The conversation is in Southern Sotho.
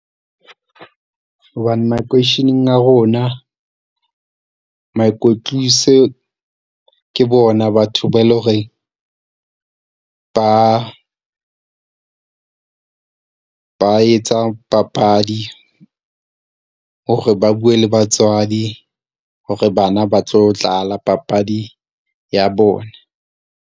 Hobane makeisheneng a rona moikwetlise ke bona batho ba e leng hore ba ba etsa papadi hore ba bue le batswadi hore bana ba tlo dlala papadi ya bona.